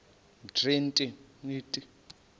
umtriniti